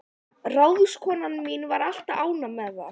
Ráðskonan mín var alltaf ánægð með það.